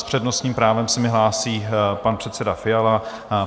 S přednostním právem se mi hlásí pan předseda Fiala.